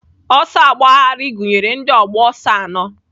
Ọsọ agbagharị gụnyere ndị ọgba ọsọ anọ.